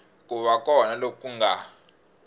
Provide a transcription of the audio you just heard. ku va kona loku nga